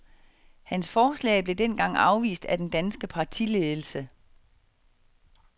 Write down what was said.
Hans forslag blev dengang afvist af den danske partiledelse.